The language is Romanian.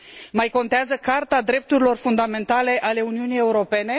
Mai contează Carta drepturilor fundamentale a Uniunii Europene?